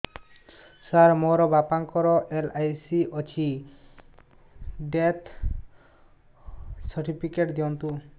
ସାର ମୋର ବାପା ଙ୍କର ଏଲ.ଆଇ.ସି ଅଛି ଡେଥ ସର୍ଟିଫିକେଟ ଦିଅନ୍ତୁ